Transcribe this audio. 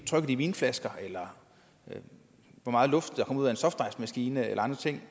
trykket i vinflasker eller hvor meget luft der kommer ud af en softicemaskine eller andre ting